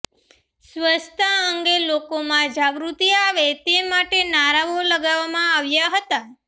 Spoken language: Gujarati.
સ્વચ્છતા અંગે લોકોમાં જાગૃતિ આવે તે માટે નારાઓ લગાવવામાં આવ્યા હતા